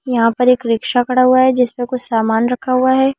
यहां पर एक रिक्शा खड़ा हुआ है जिस पर कुछ सामान रखा हुआ है।